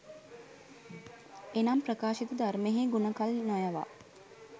එනම් ප්‍රකාශිත ධර්මයෙහි ගුණ කල් නොයවා